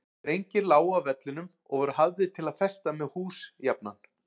Strengir lágu á vellinum og voru hafðir til að festa með hús jafnan.